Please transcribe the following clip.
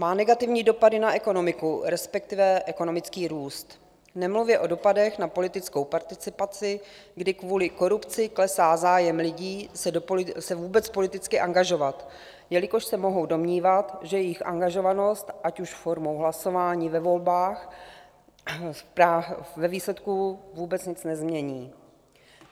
Má negativní dopady na ekonomiku, respektive ekonomický růst, nemluvě o dopadech na politickou participaci, kdy kvůli korupci klesá zájem lidí se vůbec politicky angažovat, jelikož se mohou domnívat, že jejich angažovanost, ať už formou hlasování ve volbách, ve výsledku vůbec nic nezmění.